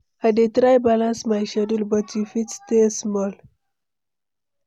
I dey try balance my schedule, but you fit stay small.